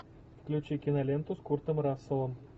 включи киноленту с куртом расселом